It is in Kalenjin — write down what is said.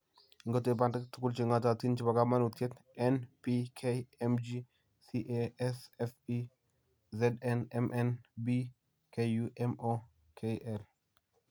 Ingotep bandek tuguuk che ng'ootiin che po kamanuutyet; N, P, K, Mg, Ca, S, Fe, Zn, Mn, B, Ku, Mo, Kl.